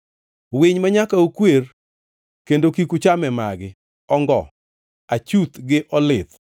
“ ‘Winy manyaka ukwer kendo kik ucham e magi: Ongo, achuth gi olith